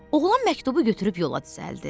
Oğlan məktubu götürüb yola düzəldi.